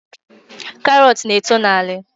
Karọt na-eto n’ala